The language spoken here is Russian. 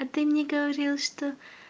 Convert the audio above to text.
а ты мне говорил что